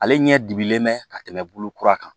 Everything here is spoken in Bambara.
Ale ɲɛ dibilen mɛ ka tɛmɛ bolo kura kan